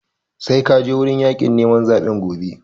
Sai ka je wurin yaƙin neman zaɓen gobe!